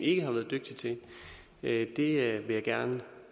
ikke har været dygtig til at det vil jeg gerne